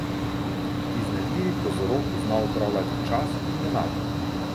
Iznajdljivi kozorog zna upravljati čas in denar.